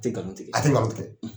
A te galon tigɛ a tɛ, nkalon tigɛ.